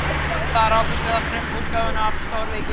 Þar rákumst við á frumútgáfuna af stórvirki